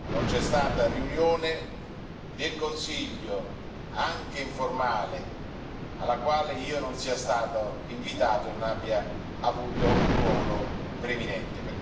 Non c'è stata riunione del Consiglio, anche informale, alla quale io non sia stato invitato e non abbia avuto un ruolo preminente.